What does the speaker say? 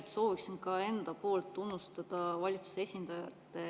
Ma soovin ka enda poolt tunnustada valitsuse esindajat.